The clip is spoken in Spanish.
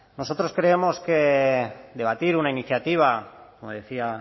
nosotros creemos que debatir una iniciativa como decía